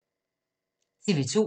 TV 2